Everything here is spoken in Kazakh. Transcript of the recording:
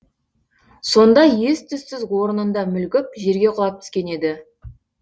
сонда ес түссіз орнында мүлгіп жерге құлап түскен еді